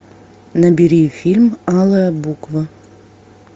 набери фильм алая буква